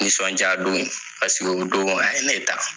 Nisɔndiya don paseke o don, a ye ne ta